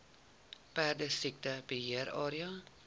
perdesiekte beheer area